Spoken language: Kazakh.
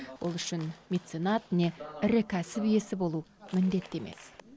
ол үшін меценат не ірі кәсіп иесі болу міндетті емес